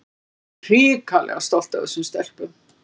En ég er hrikalega stolt af þessum stelpum.